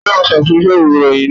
Ta ló máa ṣàtúnyẹ̀wò ìròyìn náà?